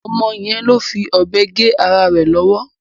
Ọmọ yẹn ló fi ọ̀bẹ gé ara rẹ̀ lọ́wọ́.